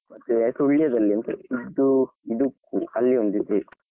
ಮತ್ತೆ ಸುಳ್ಯದಲ್ಲಿ ಉಂಟು ಇದು ಅಲ್ಲಿ ಒಂದು ಇದೆ.